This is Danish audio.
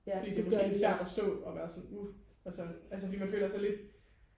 fordi det er måske lidt svært og forstå og være sådan uh fordi man føler sig sådan lidt